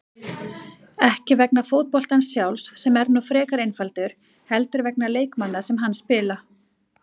Ekki vegna fótboltans sjálfs, sem er nú frekar einfaldur, heldur vegna leikmanna sem hann spila.